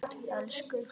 Elsku Hulda.